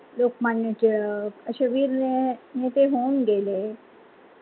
लोकमान्य टिळक आशे वीर नेते होऊन गेले.